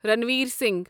Ranveer Singh